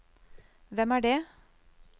hvem er det